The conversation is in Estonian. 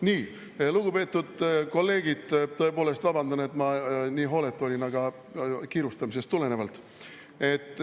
Nii, lugupeetud kolleegid, tõepoolest vabandan, et ma nii hooletu olin, aga seda kiirustamisest tulenevalt.